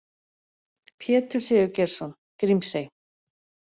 Pétur Sigurgeirsson: Grímsey.